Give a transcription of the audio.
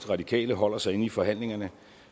radikale holder sig inde i forhandlingerne